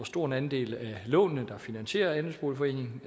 stor en andel af lånene der finansierer andelsboligforeningen